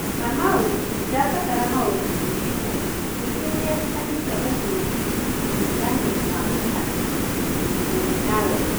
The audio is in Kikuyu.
Kamau: Ndĩrabatara maũritũ merũ ningĩ nĩerĩkanĩte gũkuruhanio na ũng'ethanĩri na mũthaki mũrunawe.